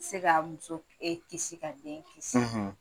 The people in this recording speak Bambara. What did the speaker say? I tɛ se ka muso kisi k'a den kisi